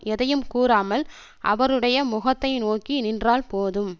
எதையும் கூறாமல் அவறுடைய முகத்தை நோக்கி நின்றால் போதும்